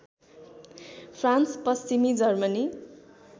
France पश्चिमी Germany